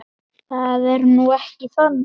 Það er nú ekki þannig.